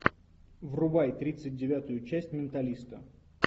врубай тридцать девятую часть менталиста